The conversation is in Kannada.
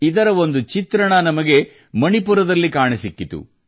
ಇದರ ಒಂದು ಚಿತ್ರಣ ನಮಗೆ ಮಣಿಪುರದಲ್ಲಿ ಕಾಣಸಿಕ್ಕಿತು